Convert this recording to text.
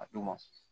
A d'u ma